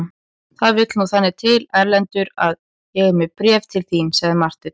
Það vill nú þannig til Erlendur að ég er með bréf til þín, sagði Marteinn.